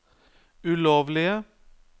ulovlige